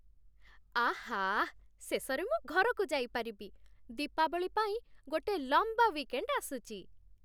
ଆଃ! ଶେଷରେ ମୁଁ ଘରକୁ ଯାଇପାରିବି । ଦୀପାବଳି ପାଇଁ ଗୋଟେ ଲମ୍ବା ୱିକେଣ୍ଡ୍ ଆସୁଛି ।